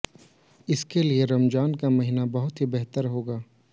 इसके लिए रमाजन का महीना बहुत ही बेहतर होगा